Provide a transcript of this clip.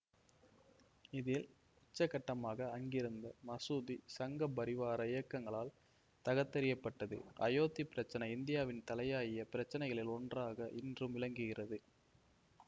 இதில் உச்சகட்டமாக அங்கிருந்த மசூதி சங்கபரிவார இயக்கங்களால் தகர்த்தெறியப்பட்டது அயோத்தி பிரச்சினை இந்தியாவின் தலையாய பிரச்சனைகளில் ஒன்றாக இன்றும் விளங்குகிறது